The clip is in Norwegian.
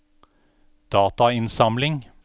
datainnsamling